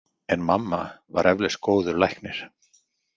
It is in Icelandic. En mamma var eflaust góður læknir.